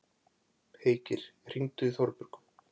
Heikir, hringdu í Þorbjörgu.